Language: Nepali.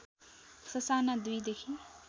ससाना २ देखि